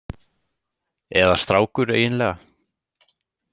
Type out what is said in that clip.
Eða strákur eiginlega.